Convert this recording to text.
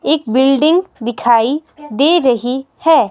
एक बिल्डिंग दिखाई दे रही है.